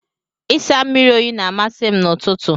Ịsa mmiri oyi na-amasị m n'ụtụtụ.